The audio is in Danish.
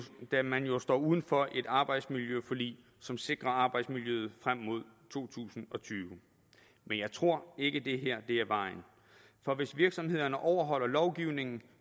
da man jo står uden for et arbejdsmiljøforlig som sikrer arbejdsmiljøet frem mod to tusind og tyve men jeg tror ikke at det her er vejen for hvis virksomhederne overholder lovgivningen